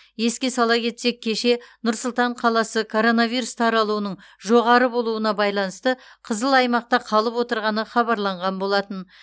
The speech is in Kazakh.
еске сала кетсек кеше нұр сұлтан қаласы коронавирус таралуының жоғары болуына байланысты қызыл аймақта қалып отырғаны хабарланған болатын